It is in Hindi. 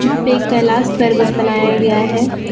यहां पे कैलाश पर्वत बनाया गया है।